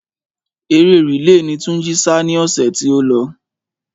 Eré rìle ni Túnjí sá ni ọ̀sẹ̀ tí ó lọ.